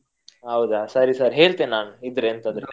ಹೌದ ಸರಿ ಸರಿ ಹೇಳ್ತೇನೆ ನಾನು ಇದ್ರೆ ಎಂತಾದ್ರೂ.